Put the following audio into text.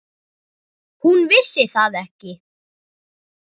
Hún vissi það ekki.